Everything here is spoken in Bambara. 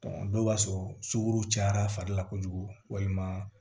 dɔw b'a sɔrɔ sugu cayara fari la kojugu walima